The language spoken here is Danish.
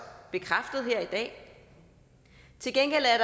bekræftet her i dag til gengæld er